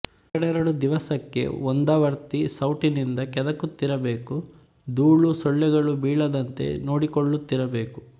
ಎರಡೆರಡು ದಿವಸಕ್ಕೆ ಒಂದಾವರ್ತಿ ಸೌಟಿನಿಂದ ಕೆದುಕುತ್ತಿರಬೇಕು ದೂಳು ಸೊಳ್ಳೆಗಳೂ ಬೀಳದಂತೆ ನೋಡಿಕೊಳ್ಳುತ್ತಿರಬೇಕು